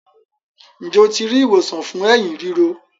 Njé o ti ri ìwòsàn fún Ẹ̀hín ríro?